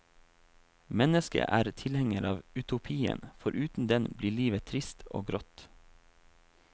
Mennesket er tilhenger av utopien, for uten den blir livet trist og grått.